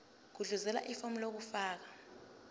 gudluzela ifomu lokufaka